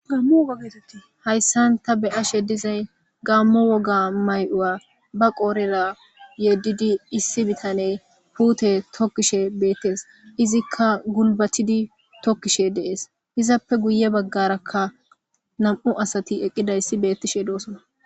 gaammo woga geetetti hayssan ta beyashe dizay gaammo woga may7u7a ba qoorera yeddidi issi bitane puute tokkishe beettes izikka gulbatidi tokkishe de7ees izappe guye baggarakka nam7u asati eqqidayssi beettishe de7osona